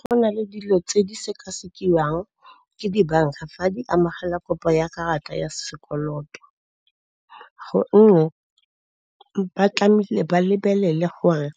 Go na le dilo tse di sekasekiwa ke dibanka fa di amogela kopo ya karata ya sekoloto, gonne ba tlamehile ba lebelele gore